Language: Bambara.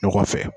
Ɲɔgɔn fɛ